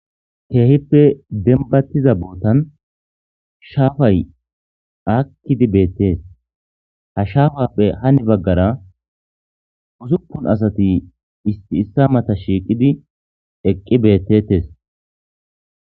keehippe denbattiza bootan shaafay akkidi beettees ha shaafappe hani baggara usupun asati isti issa mata shiiqidi eqqi beettettes